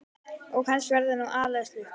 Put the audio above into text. Og kannski var þetta nú aðallega sukk.